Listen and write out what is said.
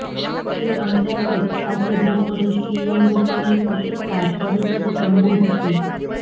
જે અંતર્ગત આજે બપોરે સીએમ રૂપાણી પત્રકાર પરિષદ સંબોધશે